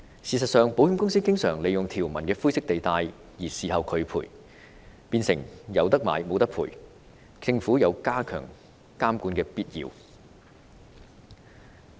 事實上，保險公司經常利用保單條文的灰色地帶拒絕賠償，變成"有得買無得賠"，政府有加強監管的必要。